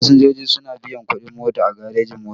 Fasinjoji suna biyan kuɗin mota a garejin-mota.